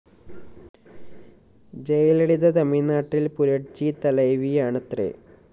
ജയലളിത തമിഴ്‌നാട്ടില്‍ പുരട്ചി തലൈവിയാണത്രെ